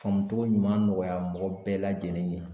Faamu cogo ɲuman nɔgɔya mɔgɔ bɛɛ lajɛlen ye